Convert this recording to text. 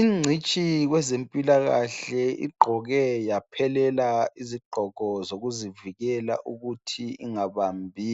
Ingcitshi kwezempilakahle igqoke yaphelela izigqoko zokuzivikela ukuthi ingabambi